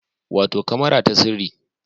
Wato kamara ta sirri